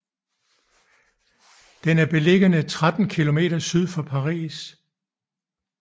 Den er beliggende 13 km syd for Paris